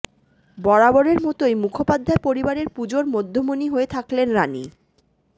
বরাবরের মতোই মুখোপাধ্যায় পরিবারের পুজোর মধ্যমণি হয়ে থাকলেন রানি